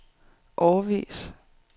årevis